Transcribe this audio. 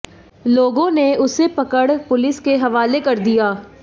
लोगों ने उसे पकड़ पुलिस के हवाले कर दिया